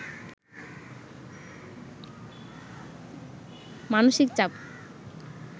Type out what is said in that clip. মানসিক চাপ